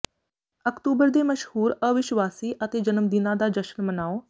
October ਦੇ ਮਸ਼ਹੂਰ ਅਵਿਸ਼ਵਾਸੀ ਅਤੇ ਜਨਮਦਿਨਾਂ ਦਾ ਜਸ਼ਨ ਮਨਾਓ